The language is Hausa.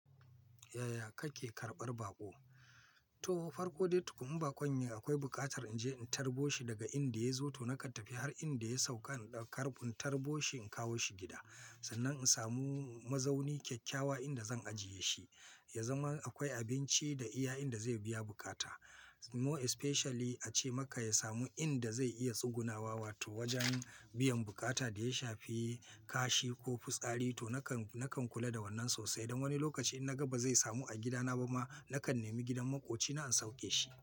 Yaya kake karɓar baƙo? To farko dai tukun baƙon yayi akwai buƙatar in je in tarbo shi daga inda ya zo. To na ka tafi har inda ya sauka in tarbo shi in kawo shi gida. Sannan in samu mazauni kyakkyawa inda zan ajiye shi, ya zama akwai abinci da iya inda zai biya bukata. More especially ace maka ya samu inda zai iya tsugunawa wato wajen biyan bukata da ya shafi kashi ko fitsari. To na kan, na kan kula da wannan sosai. Don wani lokaci in na ga ba zai samu a gidana ba ma, na kan nemi gidan maƙoci na in sauke shi.